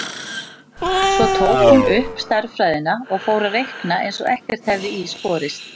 Svo tók hún upp stærðfræðina og fór að reikna eins og ekkert hefði í skorist.